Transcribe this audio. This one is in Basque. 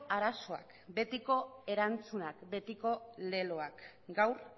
arazoak betiko erantzunak betiko leloak gaur